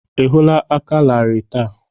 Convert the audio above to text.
Ị hụla aka larịị taa?